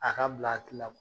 A ka bil'a hakil la